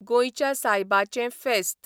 गोंयच्या सायबाचें फेस्त